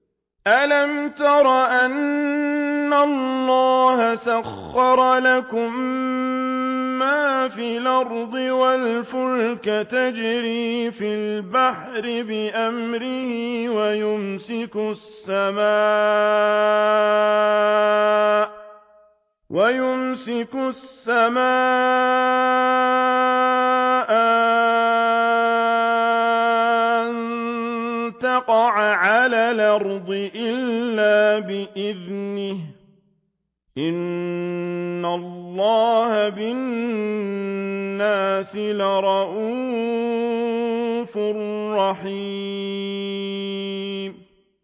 أَلَمْ تَرَ أَنَّ اللَّهَ سَخَّرَ لَكُم مَّا فِي الْأَرْضِ وَالْفُلْكَ تَجْرِي فِي الْبَحْرِ بِأَمْرِهِ وَيُمْسِكُ السَّمَاءَ أَن تَقَعَ عَلَى الْأَرْضِ إِلَّا بِإِذْنِهِ ۗ إِنَّ اللَّهَ بِالنَّاسِ لَرَءُوفٌ رَّحِيمٌ